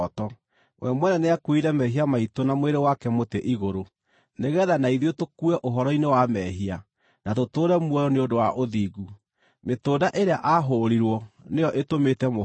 We mwene nĩakuuire mehia maitũ na mwĩrĩ wake mũtĩ-igũrũ, nĩgeetha na ithuĩ tũkue ũhoro-inĩ wa mehia, na tũtũũre muoyo nĩ ũndũ wa ũthingu; mĩtũnda ĩrĩa aahũũrirwo nĩyo ĩtũmĩte mũhone.